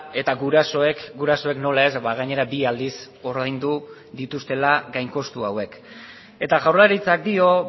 eta gurasoek gurasoek nola ez gainera bi aldiz ordaindu dituztela gain kostu hauek eta jaurlaritzak dio